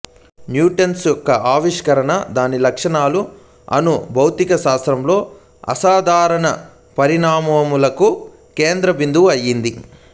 న్యూట్రాన్ల యొక్క ఆవిష్కాణ దాని లక్షణాలు అణు భౌతికశాస్త్రంలో అసాధారణ పరిణామాలకు కేంద్ర బిందువు అయింది